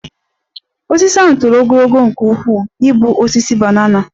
Osisi ahụ toro ogologo nke ukwuu ịbụ osisi banana